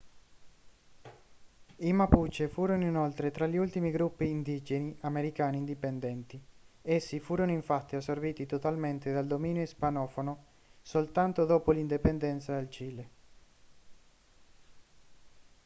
i mapuche furono inoltre tra gli ultimi gruppi indigeni americani indipendenti essi furono infatti assorbiti totalmente dal dominio ispanofono soltanto dopo l'indipendenza del cile